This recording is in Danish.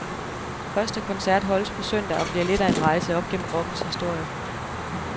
Første koncert holdes på søndag og bliver lidt af en rejse op gennem rockens historie.